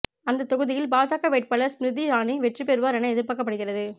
அந்த தொகுதியில் பாஜக வேட்பாளர் ஸ்மிருதி இரானி வெற்றி பெறுவார் என எதிர்பார்க்கப்படுகிறது